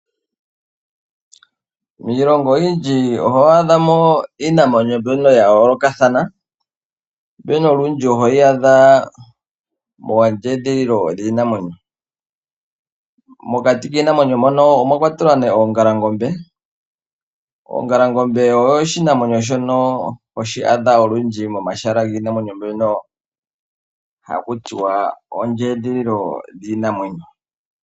Miilongo oyindji oho adhamo iinamwenyo mbyono ya yoolokathana mbyono olundji hoyi adha moondjedhililo dhiinamwenyo. Mokati kiinamwenyo mbino omwakwatelwa ongalangombe . Ongalangombe oyo oshinamwenyo shono hoshi adha olundji momahal giinamwenyo mbyono hakutiwa ondjedhililo dhiinamwenyo.